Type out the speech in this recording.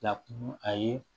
Na kun a ye